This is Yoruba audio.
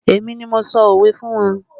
Èmi ni mo sọ òwe fún wọn